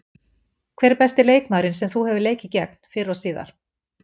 Hver er besti leikmaðurinn sem þú hefur leikið gegn, fyrr og síðar?